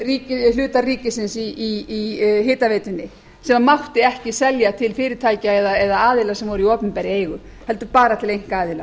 sölu hluta ríkisins í hitaveitunni sem mátti ekki selja til fyrirtækja eða aðila sem voru í opinberri eigu heldur bara til einkaaðila